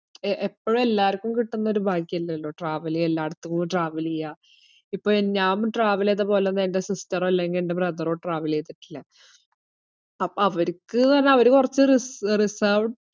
A~ എപ്പോഴും എല്ലാർക്കും കിട്ടിന്നൊരു ഭാഗ്യല്ലല്ലോ travel എല്ലാടത്തും travel എയ്യാ. ഇപ്പൊ ഏർ ഞാൻ ഇപ്പ travel എയ്തപോലൊന്നും എൻ്റെ sister ഓ അല്ലെങ്കി എൻ്റെ brother ഓ travel എയ്തിട്ടില്ല. അപ്പൊ അവരിക്ക്ന്ന് പറഞ്ഞാ അവര് കൊറച് റിസേർ~ reserved